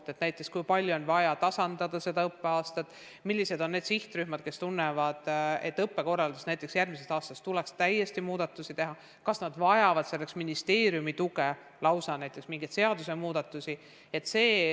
On vaja analüüsida, kui palju on vaja tasa teha kevadel saavutamata jäetut, millised on need sihtrühmad, kes tunnevad, et õppekorralduses tuleks järgmisest aastast muudatusi teha, kas nad vajavad selleks ministeeriumi tuge, lausa näiteks mingeid seadusmuudatusi.